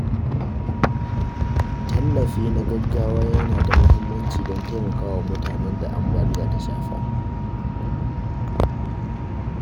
Tallafi na gaggawa yana da muhimmanci don taimakawa mutanen da ambaliya ta shafa.